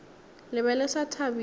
le be le sa thabile